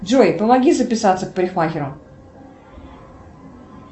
джой помоги записаться к парикмахеру